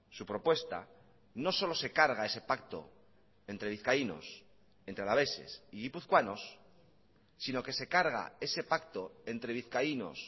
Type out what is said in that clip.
su propuesta no solo se carga ese pacto entre vizcaínos entre alaveses y guipuzcoanos sino que se carga ese pacto entre vizcaínos